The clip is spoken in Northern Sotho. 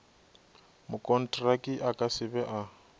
mokontraki a ka se be